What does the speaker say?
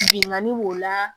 Bingani b'o la